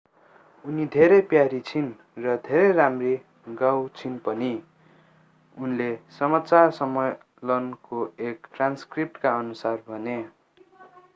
उनी धेरै प्यारी छिन् र धेरै राम्ररी गाउँछिन् पनि उनले समाचार सम्मेलनको एक ट्रान्सक्रिप्टकाअनुसार भने